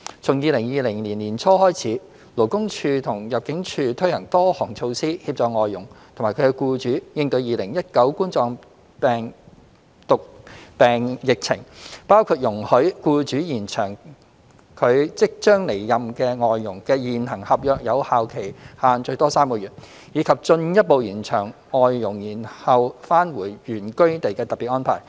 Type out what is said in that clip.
從2020年年初開始，勞工處及入境處推行多項措施，協助外傭及其僱主應對2019冠狀病毒病疫情，包括容許僱主延長其即將離任外傭的現行合約有效期限最多3個月，以及進一步延長外傭延後返回原居地的特別安排。